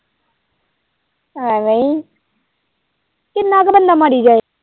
ਐਵੇਂ ਏ ਕਿੰਨਾ ਕ ਬੰਦਾ ਮਾਰੀ ਜਾਏ।